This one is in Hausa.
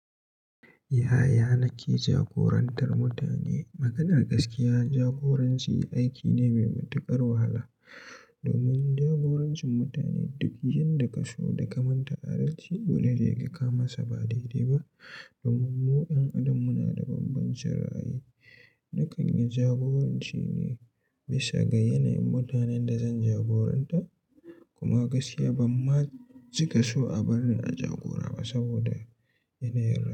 Yaya nake jagorantar mutane? Maganar gaskiya jagoranci aiki ne mai matuƙar wahala domin jagorancin mutane duk yan da ka so da kamanta adalci, dolene se kamasa ba daidai ba. Domin mu 'yan adam muna da bambancin ra'ayi. Na kan yi jagoranci ne bisa ga yanayin mutanen da zan jagoranta. Kuma gaskiya ban ma cika so a bar ni a jagora ba saboda yanayin.